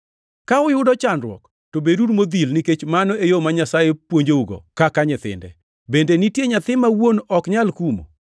Ka uyudo chandruok to beduru modhil nikech mano e yo ma Nyasaye puonjougo kaka nyithinde. Bende nitie nyathi ma wuon ok nyal kumo?